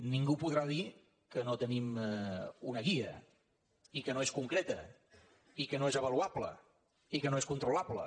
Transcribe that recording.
ningú podrà dir que no tenim una guia i que no és concreta i que no és avaluable i que no és controlable